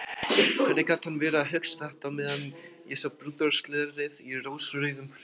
Hvernig gat hann verið að hugsa þetta á meðan ég sá brúðarslörið í rósrauðum hillingum!